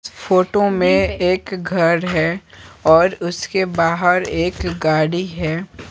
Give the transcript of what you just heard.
Photo में एक घर हैऔर उसके बाहरएक गाड़ी है।